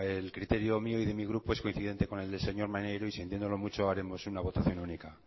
el criterio mío y de mi grupo es coincidente con el de el señor maneiro y sintiéndolo muchos haremos una votación única